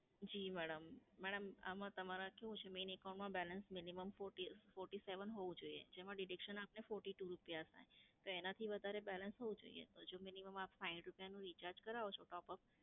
જી madam madam, આમાં તમારે કેવું છે, main account માં balance minimum forty, forty-one હોવું જોઈએ. જેમાં deduction આપને forty-two રૂપયા થાય. તો એનાંથી વધારે balance હોવું જોઈએ. મિનિમમ આપ સાઈઠ રૂપયાનનું recharge કરાવો છો topup,